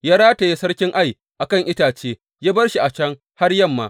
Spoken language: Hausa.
Ya rataye sarkin Ai a kan itace, ya bar shi a can har yamma.